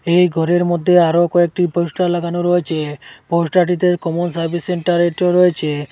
এই ঘরের মধ্যে আরও কয়েকটি পোস্টার লাগানো রয়েছে পোস্টারটিতে কমন সার্ভিস সেন্টার এটিও রয়েছে।